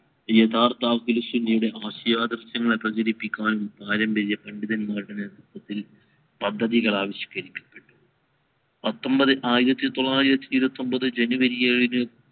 യഥാർത്ഥ ആശ്യാദിർഷണങ്ങൾ പ്രചരിപ്പിക്കാൻ കാര്യം വലിയ പണ്ഡിതന്മാർ നേതൃത്വത്തിൽ പദ്ദതികൾ ആവിഷ്കരിച്ചു പത്തൊമ്പത് ആയിരത്തി തൊള്ളായിരത്തി ഇരുവതി ഒമ്പത് january ഏഴിന്